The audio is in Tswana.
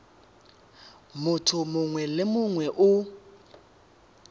motho mongwe le mongwe o